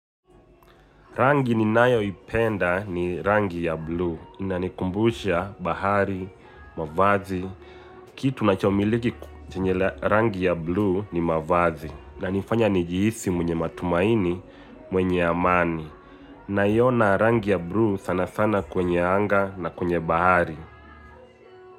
Rangi ninayo ipenda ni rangi ya blue inanikumbusha bahari, na maji, kitu nachomiliki chenye rangi ya blue ni mavazi inanifanya nijihisi mwenye matumaini mwenye amani. Naiona rangi ya buluu sanasana kwenye anga na kwenye bahari.